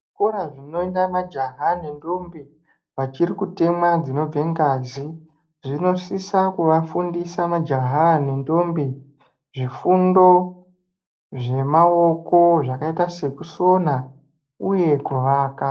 Zvikora zvinoenda majaha nendombi wachiri kutemwa dzinobve ngazi zvinosisa kuwa fundisa majaha aya nendombi zvifundo zvemaoko zvakaita sekusona uye kuwaka.